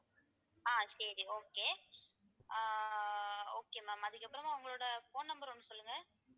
ஆஹ் சரி okay ஆஹ் okay ma'am அதுக்கப்புறமா உங்களோட phone number ஒண்ணு சொல்லுங்க